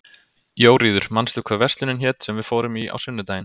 Jóríður, manstu hvað verslunin hét sem við fórum í á sunnudaginn?